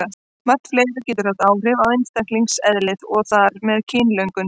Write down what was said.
Margt fleira getur haft áhrif á einstaklingseðlið og þar með kynlöngun.